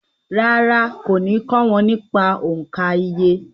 Rárá, kò ní kọ́ wọn nípa òǹkà iye